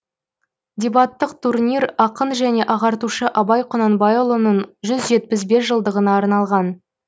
дебаттық турнир ақын және ағартушы абай құнанбайұлының жүз жетпіс бес жылдығына арналған